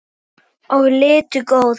og litu góða.